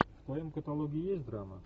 в твоем каталоге есть драма